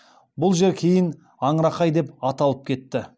бұл жер кейін аңырақай деп аталып кетті